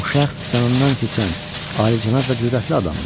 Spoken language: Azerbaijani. Bu şəxs canından keçən alicənab və cürətli adamdır.